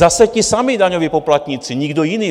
Zase ti samí daňoví poplatníci, nikdo jiný.